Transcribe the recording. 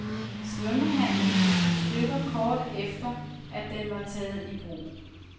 Svømmehallen gik i stykker kort efter, at den var taget i brug.